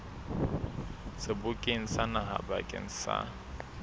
sebokeng sa naha bakeng sa